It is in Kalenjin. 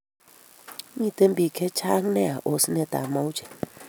Miten pik che chang nea osent ab mauche